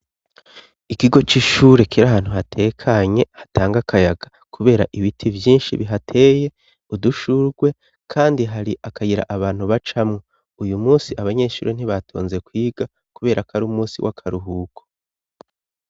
Ikigo c'ishure kiri ahantu hatekanye, hatanga akayaga kubera ibiti vyinshi bihateye, udushugwe, kandi hari akayira abantu bacamwo. Uyu munsi abanyeshure ntibatonze kwiga kuberako ari umusi w'akaruhuko.